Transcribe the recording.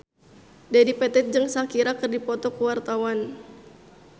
Dedi Petet jeung Shakira keur dipoto ku wartawan